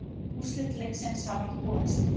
Úrslit leiksins hafa ekki borist